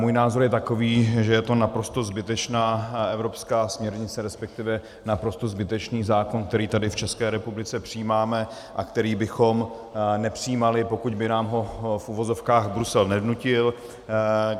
Můj názor je takový, že je to naprosto zbytečná evropská směrnice, respektive naprosto zbytečný zákon, který tady v České republice přijímáme a který bychom nepřijímali, pokud by nám ho - v uvozovkách - Brusel nevnutil.